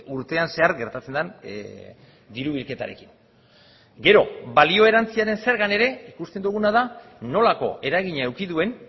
urtean zehar gertatzen den diru bilketarekin gero balio erantsiaren zergan ere ikusten duguna da nolako eragina eduki duen